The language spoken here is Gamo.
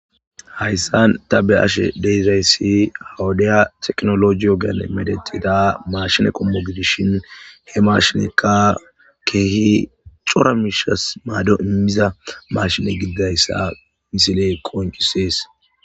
Hayssan ta be ashe deizzayssi hawudiya teknologiyogen medetida marshine qommo gidishin he marshinekka kehi cora miishas maado immiza mashine gididayssa misiley koncisees.